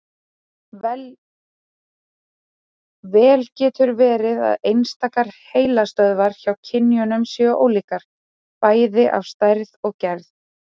Vel getur verið að einstakar heilastöðvar hjá kynjunum séu ólíkar, bæði að stærð og gerð.